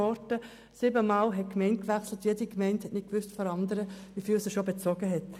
Der Betreffende hat siebenmal die Gemeinde gewechselt, und keine der Gemeinden wusste, wie viel er bereits bezogen hatte.